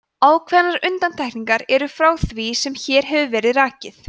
ákveðnar undantekningar eru frá því sem hér hefur verið rakið